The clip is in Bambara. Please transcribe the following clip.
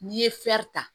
N'i ye ta